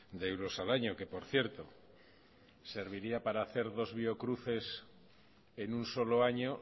de euros al año que por cierto serviría para hacer dos biocruces en un solo año